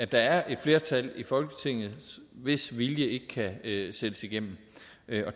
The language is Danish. der er et flertal i folketinget hvis vilje ikke kan sættes igennem